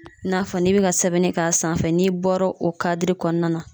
I n'a fɔ n'i be ka sɛbɛnni k'a sanfɛ n'i bɔra o kadiri kɔnɔna na